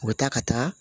U bɛ taa ka taa